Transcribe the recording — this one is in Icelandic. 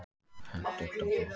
Hentugt og gott.